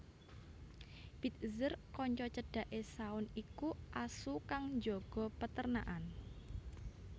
Bitzer kanca cedhake Shaun iku asu kang njaga perternakan